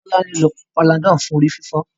Tolani ń ló Panadol fún orí-fífọ́.